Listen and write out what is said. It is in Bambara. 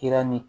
Kɛra ni